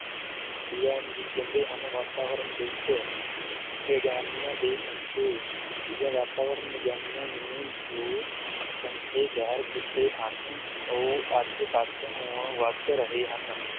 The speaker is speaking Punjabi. ਕਹਿੰਦੇ ਹਨ ਵਾਤਾਵਰਨ ਦਿਵਸ਼, ਵਿਗਿਆਨੀਆਂ ਦੇ ਸ਼ੰਕੇ, ਵਾਤਾਵਰਣ ਵਿਗਿਆਨੀਆਂ ਨੇ ਜੋ ਸ਼ੰਕੇ ਜ਼ਹਿਰ ਕੀਤੇ ਹਨ ਉਹ ਅੱਜ ਸੱਚ ਹੋਣ ਵੱਧ ਰਹੇ ਹਨ।